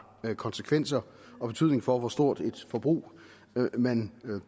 konsekvenser og betydning for hvor stort et forbrug man